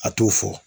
A t'o fɔ